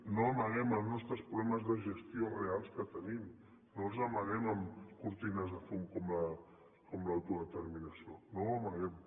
no amaguem els nostres problemes de gestió reals que tenim no els amaguem amb cortines de fum com l’autodeterminació no ho amaguem